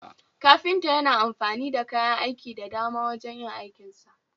kafinta Yana amfani da kayan aiki dan dama wajen yin aikinsa